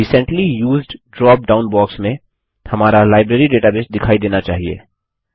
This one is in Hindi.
recently used drop down box में हमारा लाइब्रेरी डेटाबेस दिखाई देनी चाहिए